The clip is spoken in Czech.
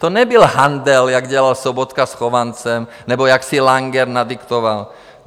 To nebyl handl, jako dělal Sobotka s Chovancem nebo jak si Langer nadiktoval.